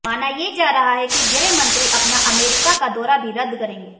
माना ये जा रहा है कि गृह मंत्री अपना अमेरिका का दौरा भी रद्द करेंगे